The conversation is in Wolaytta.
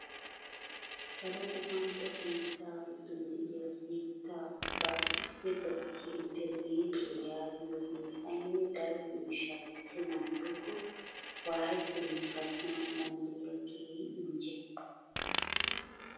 Salo guppantto biittaa giddon de'iyaa biitta ubbaa issippe gattiyaa internetiyaa yaagiyoogee ayne daro miishshaa kessenan woykko wayettenan gattanawu danddayiyaa keehi injje!